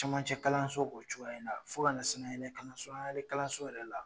Camancɛ kalanso b'o cogoya in na, fo ka na sanayɛlɛ kalanso sanayɛrɛ kalanso yɛrɛ la